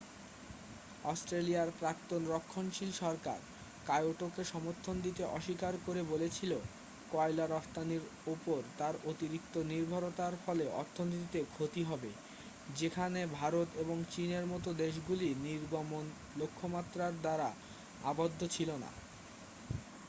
অস্ট্রেলিয়ার প্রাক্তন রক্ষণশীল সরকার কায়োটোকে সমর্থন দিতে অস্বীকার করে বলেছিল কয়লা রফতানির উপর তার অতিরিক্ত নির্ভরতার ফলে অর্থনীতিতে ক্ষতি হবে যেখানে ভারত এবং চীনের মতো দেশগুলি নির্গমন লক্ষ্যমাত্রার দ্বারা আবদ্ধ ছিল না